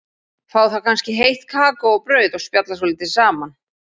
Fá þá kannski heitt kakó og brauð og spjalla svolítið saman.